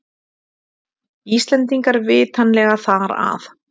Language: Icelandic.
Íslendingar vitanlega þar að.